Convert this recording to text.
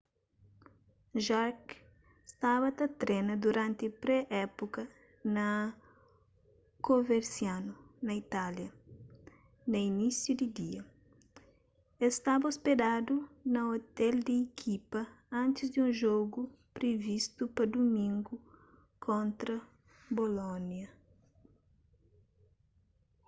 jarque staba ta trena duranti pré-épuka na coverciano na itália na inísiu di dia el staba ôspedadu na ôtel di ikipa antis di un jogu privistu pa dumingu kontra bolônia